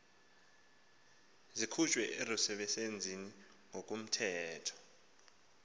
zikhutshwe erusebenzeni ngokomthetho